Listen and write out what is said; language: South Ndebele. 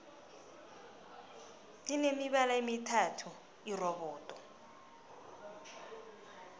line mibala emithathu irobodo